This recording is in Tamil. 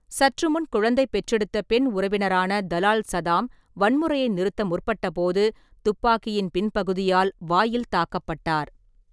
சற்றுமுன் குழந்தை பெற்றெடுத்த பெண் உறவினரான தலால் சதாம் வன்முறையை நிறுத்த முற்பட்டபோது, ​​துப்பாக்கியின் பின்பகுதியால் வாயில் தாக்கப்பட்டார்.